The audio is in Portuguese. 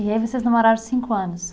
E aí vocês namoraram cinco anos?